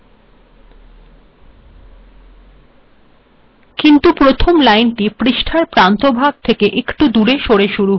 কিন্তু রথম লাইনটি পৃষ্ঠার প্রান্তভাগ থেকে একটু সরে শুরু হয়েছে কেন কারণ এখানে প্যারাগ্রাফ বা অনুচ্ছেদের সূচনা হয়েছে